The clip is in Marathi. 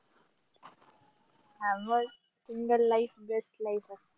हाव मग single life best life आस्ते.